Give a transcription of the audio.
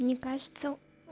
мне кажется